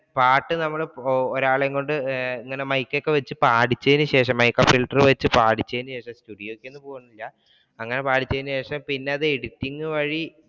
പാട്ട് നമ്മൾ ഒരാളെ കൊണ്ട് ഇങ്ങനെ മൈക്ക് ഒക്കെ വെച്ചിട്ട് പാടിച്ചതിനു ശേഷം പാടിച്ചതിനു ശേഷം അങ്ങനെ പാടിച്ചതിനു ശേഷം പിന്നെ അത് editing വഴി